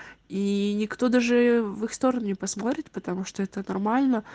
ии никто даже в их сторону посмотрит потому что это нормально